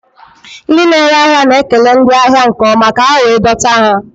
Ndị na-ere ahịa na-ekele ndị ahịa nke ọma ka ha wee dọta ha